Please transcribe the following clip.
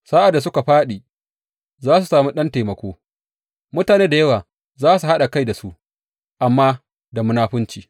Sa’ad da suka fāɗi, za su sami ɗan taimako, mutane da yawa za su haɗa kai da su, amma da munafunci.